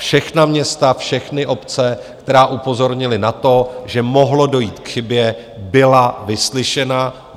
Všechna města, všechny obce, které upozornily na to, že mohlo dojít k chybě, byly vyslyšeny.